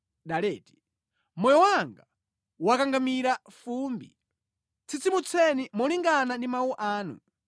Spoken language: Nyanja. Moyo wanga wakangamira fumbi; tsitsimutseni molingana ndi mawu anu.